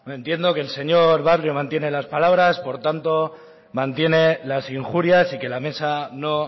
entiendo que el señor barrio mantiene las palabras por tanto mantiene las injurias y que la mesa no